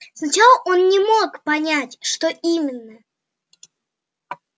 сначала он не мог понять что именно